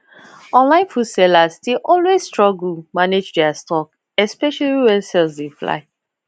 online food sellers dey always struggle manage their stock especially when sales dey fly